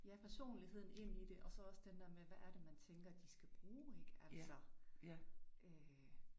Ja personligheden ind i det og så også den der med hvad der det man tænker de skal bruge ik, altså, øh